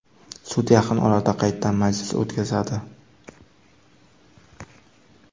Sud yaqin orada qaytadan majlis o‘tkazadi.